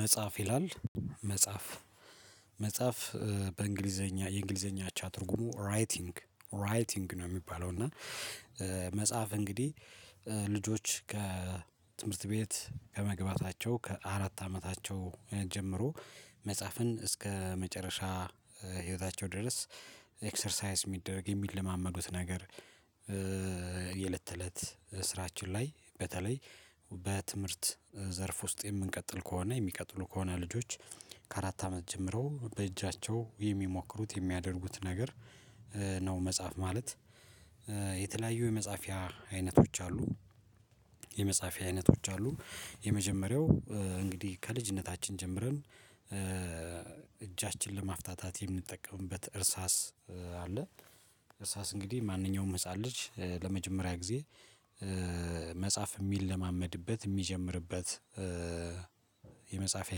መጽሐፍ ይላል መጽሐፍ መጽሐፍ በእንግሊዘኛ የእንግሊዘኛ አቻ ትርጉሙ ራይቲንግ ራይቲንግ ነው የሚባለው። እና መጽሐፍ እንግዲህ ልጆች ከትምህርት ቤት ከመግባታቸው ከአራት አመታቸው ጀምሮ መጽሐፍን እስከ መጨረሻ ህይወታቸው ድረስ ኤክሰርሳይስ የሚደረግ የሚለማመዱት ነገር። የለት እለት ስራችን ላይ በተለይ በትምህርት ዘርፍ ውስጥ የምንቀጥል ከሆነ የሚቀጥሉ ከሆነ ልጆች ከአራት አመት ጀምረው በእጃቸው የሚሞክሩት የሚያደርጉት ነገር ነው መጽሐፍ ማለት የተለያዩ የመጽሐፊያ አይነቶች አሉ። የመጽሐፊያ አይነቶች አሉ የመጀመሪያው እንግዲህ ከልጅነታችን ጀምረን እጃችንን ለማፍታታት የምንጠቀምበት እርሳስ አለ። እርሳስ እንግዲህ ማንኛውም ህፃን ልጅ ለመጀመሪያ ጊዜ መጽሐፍ የሚለማመድበት የሚጀምርበት የመጻፍያ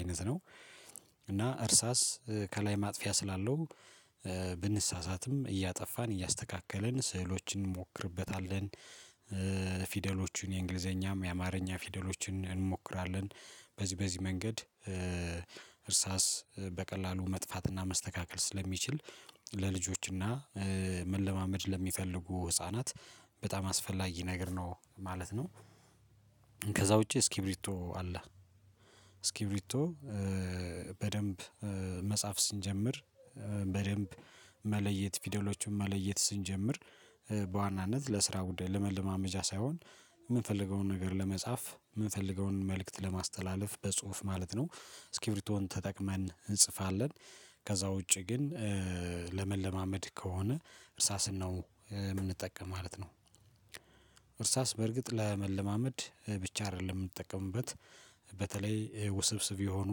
አይነት ነው። እና እርሳስ ከላይ ማጥፊያ ስላለው ብንሳሳትም እያጠፋን እያስተካከልን ስዕሎችን እንሞክርበታለን ፊደሎቹን የእንግሊዘኛም የአማርኛ ፊደሎችን እንሞክራለን በዚህ በዚህ መንገድ እርሳስ በቀላሉ መጥፋትና መስተካከል ስለሚችል ለልጆችና መለማመድ ለሚፈልጉ ህፃናት በጣም አስፈላጊ ነገር ነው ማለት ነው። ከዛ ውጪ እስኪቢርቶ አለ። እስኪቢርቶ በደንብ መጻፍ ስንጀምር በደንብ መለየት ፊደሎቹን መለየት ስንጀምር በዋናነት ለስራ ጉዳይ ለመለማመጃ ሳይሆን የምንፈልገውን ነገር ለመጻፍ የምንፈልገውን መልእክት ለማስተላለፍ በጽሁፍ ማለት ነው። ስኪብሪቶን ተጠቅመን እንጽፋለን ከዛ ውጪ ግን ለመለማመድ ከሆነ እርሳስነው የምንጠቀም ማለት ነው። እርሳስ በእርግጥ ለመለማመድ ብቻ አይደለም የምንጠቀምበት በተለይ ውስብስብ የሆኑ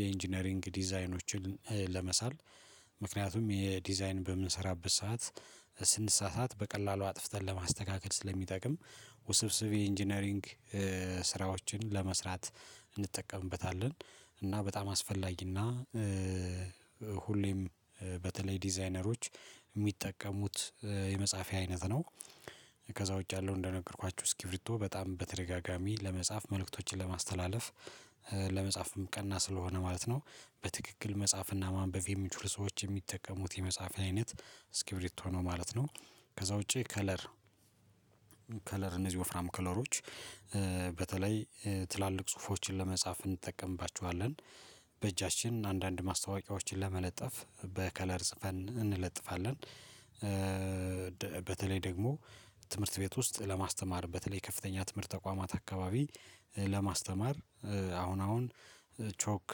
የኢንጂነሪንግ ዲዛይኖችን ለመሳል ምክንያቱም የዲዛይን በምንሰራበት ሰዓት ስንሳሳት በቀላሉ አጥፍተን ለማስተካከል ስለሚጠቅም ውስብስብ ኢንጂነሪንግ ስራዎችን ለመስራት እንጠቀምበታለን። እና በጣም አስፈላጊና ሁሌም በተለይ ዲዛይነሮች የሚጠቀሙት የመጻፍያ አይነት ነው። ከዛ ውጪ ያለው እንደነገርኳችሁ እስኪብርቶ በጣም በተደጋጋሚ ለመጻፍ መልእክቶችን ለማስተላለፍ ለመጻፍ ቀና ስለሆነ ማለት ነው። በትክክል መጻፍና ማንበብ የሚችሉ ሰዎች የሚጠቀሙት የመጻፍያ አይነት እስኪብርቶ ነው ማለት ነው። ከዛ ውጪ ከለር ከለር እነዚህ ወፍራም ከለሮች በተለይ ትላልቅ ጽሁፎችን ለመጻፍ እንጠቀምባቸዋለን በእጃችን አንዳንድ ማስታወቂያዎችን ለመለጠፍ በከለር ጽፈን እንለጥፋለን። በተለይ ደግሞ ትምህርት ቤት ውስጥ ለማስተማር በተለይ ከፍተኛ ትምህርት ተቋማት አካባቢ ለማስተማር አሁን አሁን ቾክ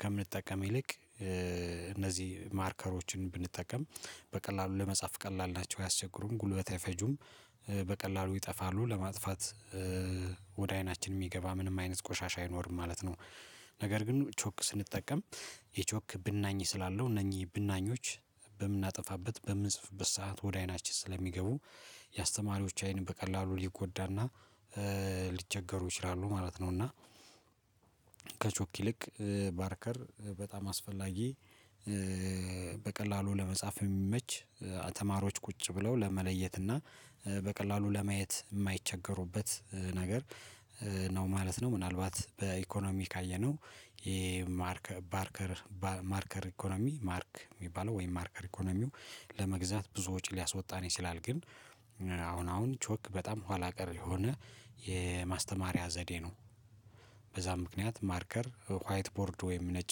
ከምንጠቀም ይልቅ እነዚህ ማርከሮችን ብንጠቀም በቀላሉ ለመጻፍ ቀላል ናቸው አያስቸግሩም ጉልበት አይፈጁም በቀላሉ ይጠፋሉ ለማጥፋት ወደ አይናችን የሚገባ ምንም አይነት ቆሻሻ አይኖርም ማለት ነው። ነገር ግን ቾክ ስንጠቀም የቾክ ብናኝ ስላለው እነኚህ ብናኞች በምናጠፋበት በምንጽፍበት ሰዓት ወደ አይናችን ስለሚገቡ የአስተማሪዎች አይን በቀላሉ ሊጎዳና ሊቸገሩ ይችላሉ ማለት ነው። እና ከቾክ ይልቅ ባርከር በጣም አስፈላጊ በቀላሉ ለመጻፍ የሚመች ተማሮች ቁጭ ብለው ለመለየት እና በቀላሉ ለማየት የማይቸገሩበት ነገር ነው ማለት ነው። ምናልባት በኢኮኖሚ ካየነው ይሄ ማርክ ባርከር ባ ማርከር ኢኮኖሚ ማርክ የሚባለው ወይም ማርከር ኢኮኖሚው ለመግዛት ብዙ ወጪ ሊያስወጣን ይችላል ግን አሁን አሁን ቾክ በጣም ኋላ ቀር የሆነ የማስተማሪያ ዘዴ ነው። በዛ ምክንያት ማርከር ዋይት ቦርድ ወይም ነጭ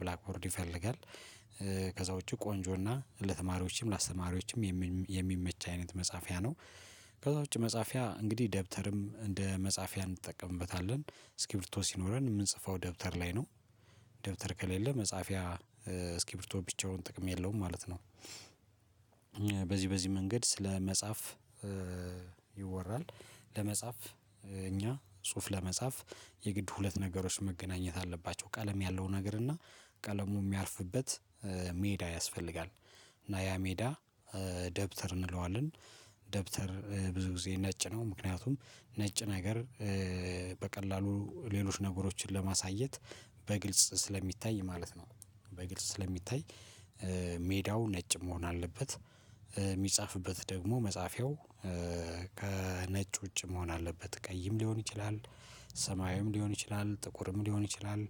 ብላክ ቦርድ ይፈልጋል። ከዛ ውጪ ቆንጆና ለተማሪዎችም ለአስተማሪዎችም የሚመች አይነት መጽሐፊያ ነው። ከዛ ውጪ መጽሐፊያ እንግዲህ ደብተርም እንደ መጽሐፊያ እንጠቀምበታለን እስኪብርቶ ሲኖረን የምንጽፈው ደብተር ላይ ነው ደብተር ከሌለ መጻፊያ እስኪብርቶ ብቻውን ጥቅም የለውም ማለት ነው። በዚህ በዚህ መንገድ ስለ መጽሐፍ ይወራል። ለመጻፍ እኛ ጽሁፍ ለመጻፍ የግድ ሁለት ነገሮች መገናኘት አለባቸው ቀለም ያለው ነገር እና ቀለሙ የሚያርፍበት ሜዳ ያስፈልጋል። እና ያ ሜዳ ደብተር እንለዋለን ደብተር ብዙ ጊዜ ነጭ ነው ምክንያቱም ነጭ ነገር በቀላሉ ሌሎች ነገሮችን ለማሳየት በግልጽ ስለሚታይ ማለት ነው። በግልጽ ስለሚታይ ሜዳው ነጭ መሆን አለበት የሚጻፍበት ደግሞ መጻፊያው ከነጭ ውጭ መሆን አለበት ቀይም ሊሆን ይችላል። ሰማያዊም ሊሆን ይችላል ጥቁርም ሊሆን ይችላል